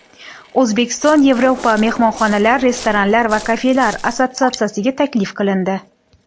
O‘zbekiston Yevropa mehmonxonalar, restoranlar va kafelar assotsiatsiyasiga taklif qilindi.